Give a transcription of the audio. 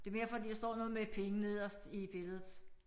Det mere fordi der står noget med penge nederst i billedet